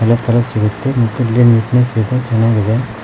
ಎಲ್ಲಾ ತರ ಸಿಗುತ್ತೆ ಮತ್ತು ಇಲ್ಲಿ ನೀಟ್ನೆಸ್ಸ ಇದೆ ಚೆನ್ನಾಗಿದೆ.